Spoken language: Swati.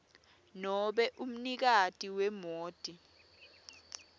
nobe umnikati wemoti